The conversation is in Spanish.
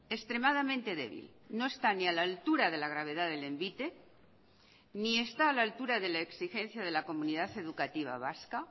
extremadamente débil no está ni a la altura de la gravedad del envite ni está a la altura de la exigencia de la comunidad educativa vasca